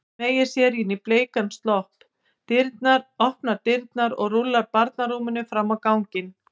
Smeygir sér í bleikan slopp, opnar dyrnar og rúllar barnarúminu fram á ganginn.